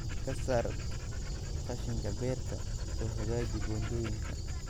Ka saar qashinka beerta oo hagaaji buundooyinka